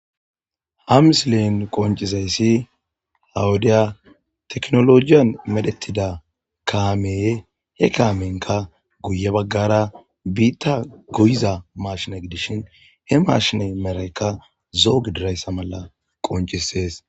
Ha missilen qonccizayssi ha wode tekkinlojjeyn medhetida kaame he kaamenka guye baggara biita goyiza mashshine gidishin he mashine medhayka zo'o gididayssa qonccises.